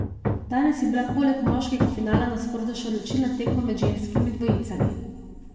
Danes je bila poleg moškega finala na sporedu še odločilna tekma med ženskimi dvojicami.